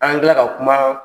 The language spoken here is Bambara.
An ka kuma